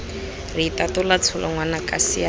re itatola tsholo ngwanaka siana